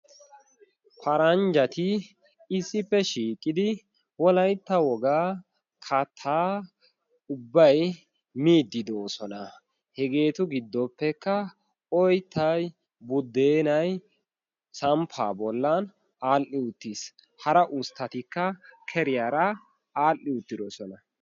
Paranjjati issippe shiiqqidi wolaitta wogaa kata ubbay miiddi doosona. hegeetu giddoppekka oyttay buddeenay samppa bollan aadhdhi uttiis hara usttatikka keriyaara aadhdhi uttidosona.